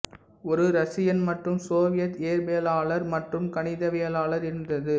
ஒரு ரஷியன் மற்றும் சோவியத் இயற்பியலாளர் மற்றும் கணிதவியலாளர் இருந்தது